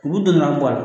U b'u donna bɔ a la